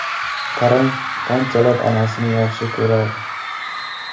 Qarang, qanchalar onasini yaxshi ko‘radi.